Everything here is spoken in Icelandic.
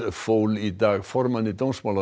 fól í dag formanni